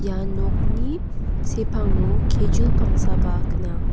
ia nokni sepango kejul pangsaba gnang.